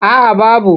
A a babu.